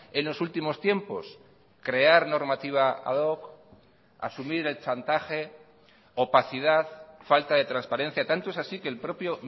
en los últimos tiempos crear normativa ad hoc asumir el chantaje opacidad falta de transparencia tanto es así que el propio